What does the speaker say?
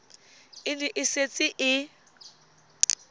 e ne e setse e